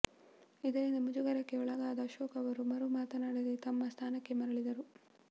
ಇದರಿಂದ ಮುಜುಗರಕ್ಕೆ ಒಳಗಾದ ಅಶೋಕ್ ಅವರು ಮರು ಮಾತನಾಡದೆ ತಮ್ಮ ಸ್ಥಾನಕ್ಕೆ ಮರಳಿದರು